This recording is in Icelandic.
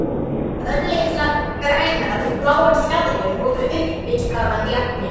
Örlitlar grænar og bláar fjaðrir voru uppistaðan í agninu.